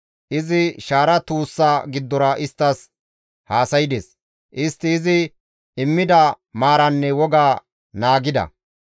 Izi shaara tuussa giddora isttas haasaydes; istti izi immida maaraanne woga naagida.